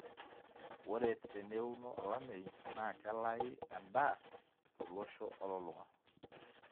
ore teneuno olameyu naa kelaui edaa tolosho olulung'a